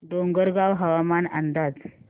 डोंगरगाव हवामान अंदाज